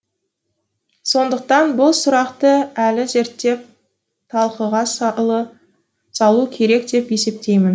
сондықтан бұл сұрақты әлі зерттеп талқыға салу керек деп есептеймін